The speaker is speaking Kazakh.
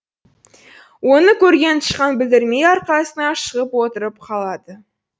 оны көрген тышқан білдірмей арқасына шығып отырып қалады